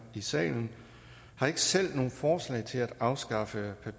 i salen har ikke selv nogen forslag til at afskaffe